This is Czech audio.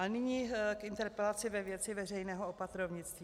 A nyní k interpelaci ve věci veřejného opatrovnictví.